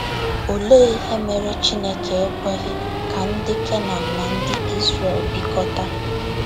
Olee ihe mere Chineke ekweghị ka ndị Kenan na ndị Izrel bikọta?